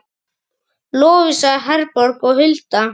Lovísa Herborg og Hulda.